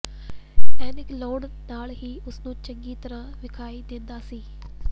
ਐਨਕ ਲਾਉਣ ਨਾਲ ਹੀ ਉਸ ਨੂੰ ਚੰਗੀ ਤਰ੍ਹਾਂ ਵਿਖਾਈ ਦਿੰਦਾ ਸੀ